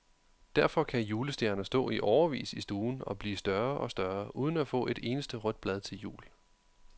Derfor kan julestjerner stå i årevis i stuen og blive større og større uden at få et eneste rødt blad til jul.